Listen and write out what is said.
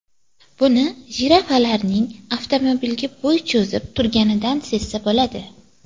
Buni jirafalarning avtomobilga bo‘y cho‘zib turganidan sezsa bo‘ladi.